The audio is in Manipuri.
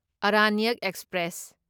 ꯑꯔꯥꯅ꯭ꯌꯛ ꯑꯦꯛꯁꯄ꯭ꯔꯦꯁ